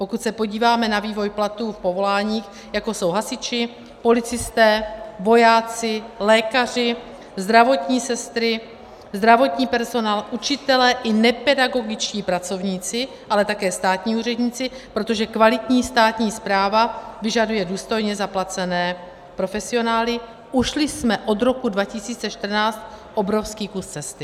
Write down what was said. Pokud se podíváme na vývoj platů v povoláních, jako jsou hasiči, policisté, vojáci, lékaři, zdravotní sestry, zdravotní personál, učitelé i nepedagogičtí pracovníci, ale také státní úředníci, protože kvalitní státní správa vyžaduje důstojně zaplacené profesionály, ušli jsme od roku 2014 obrovský kus cesty.